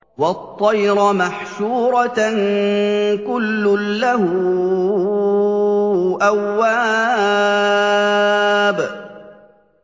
وَالطَّيْرَ مَحْشُورَةً ۖ كُلٌّ لَّهُ أَوَّابٌ